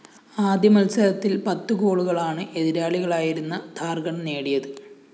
ആദ്യമത്സരത്തില്‍ പത്ത് ഗോളുകളാണ് എതിരാളികളായിരുന്ന ഝാര്‍ഖണ്ഡ് നേടിയത്